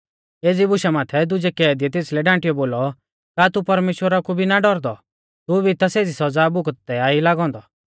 एज़ी बुशा माथै दुजै कैदीयै तेसलै डांटीयौ बोलौ का तू परमेश्‍वरा कु भी ना डौरदौ तू भी ता सेज़ी सौज़ा भुगतदै ता ई लागौ औन्दौ